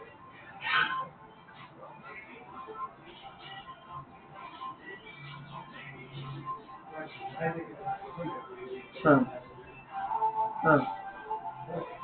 অ। অ